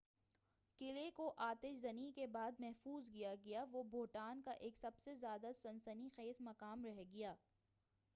قلعے کو آتش زنی کے بعد محفوظ کیا گیا وہ بھوٹان کا ایک سب سے زیادہ سنسنی خیز مقام رہ گیا